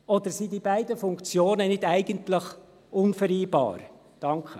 Oder sind die beiden Funktionen nicht eigentlich unvereinbar?»